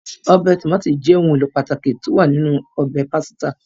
Ọbẹ̀ Tòmátì is ohun èlò pàtàkì tí ó wà nínú ọbẹ̀ pásítà